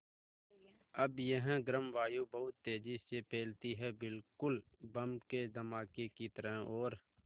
अब यह गर्म वायु बहुत तेज़ी से फैलती है बिल्कुल बम के धमाके की तरह और